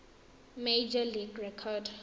major league record